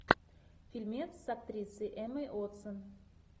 фильмец с актрисой эммой уотсон